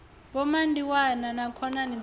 vho mandiwana na khonani dzavho